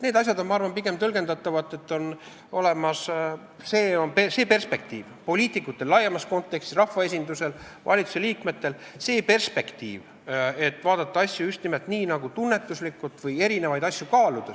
Need asjad on, ma arvan, pigem tõlgendatavad nii, et poliitikutel laiemas kontekstis, rahvaesindusel, valitsusliikmetel on see perspektiiv, et vaadata asju just nimelt nii, tunnetuslikult erinevaid asju kaaludes.